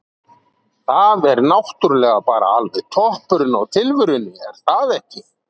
Það er náttúrulega bara alveg toppurinn á tilverunni er það ekki?